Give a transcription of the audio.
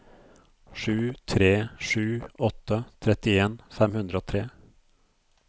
sju tre sju åtte trettien fem hundre og tre